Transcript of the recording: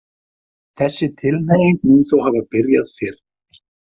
Þessi tilhneiging mun þó hafa byrjað fyrr.